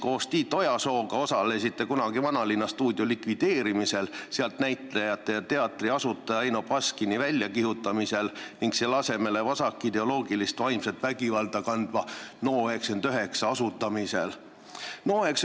Koos Tiit Ojasooga osalesite kunagi Vanalinnastuudio likvideerimisel, sealt näitlejate ja teatri asutaja Eino Baskini väljakihutamisel ning selle asemele vasakideoloogilist ja vaimset vägivalda kandva NO99 asutamisel.